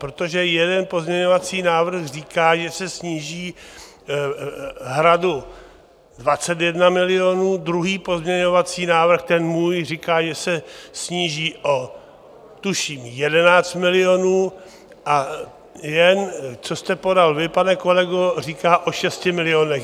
Protože jeden pozměňovací návrh říká, že se sníží Hradu 21 milionů, druhý pozměňovací návrh, ten můj, říká, že se sníží o tuším 11 milionů a ten, co jste podal vy, pane kolego, říká o 6 milionech.